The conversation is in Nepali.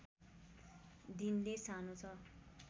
दिनले सानो छ